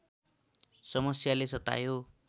समस्याले सतायो